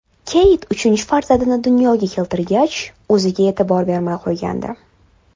Keyt uchinchi farzandini dunyoga keltirgach, o‘ziga e’tibor bermay qo‘ygandi.